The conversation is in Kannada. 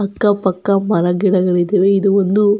ಅಕ್ಕ ಪಕ್ಕ ಮರಗಿಡಗಳು ಇದಾವೆ ಇದು ಒಂದು --